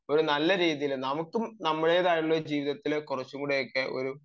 ഒരു നല്ല രീതിയിൽ നമുക്കും നമ്മുടേതായിട്ടുള്ള ഒരു ജീവിതത്തിലെ കുറച്ചുകൂടി ഒരു